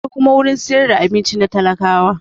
Akwai kuma gurin siyar da abinci na talakawa